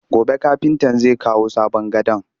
Gobe kafintan zai kawo sabon gadon